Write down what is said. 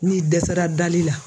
N'i dɛsɛra dali la.